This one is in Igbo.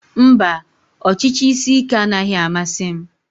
Mba, ọchịchị isi ike anaghị amasị m